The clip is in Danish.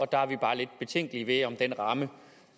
der er vi bare lidt betænkelige ved om den ramme